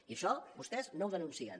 i això vostès no ho denuncien